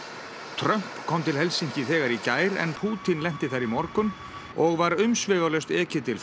Trump kom til Helsinki þegar í gær en Pútín lenti þar í morgun og var umsvifalaust ekið til